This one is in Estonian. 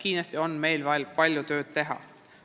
Selles valdkonnas on meil kindlasti veel palju tööd ära teha.